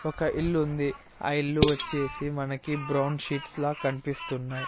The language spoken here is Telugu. ఒక ఇల్లుంది ఆ ఇల్లు వచ్చేసి మనకి బ్రౌన్ షీట్స్ లా కన్పిస్తున్నాయి.